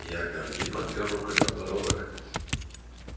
иоганн ли подпёр рукой подбородок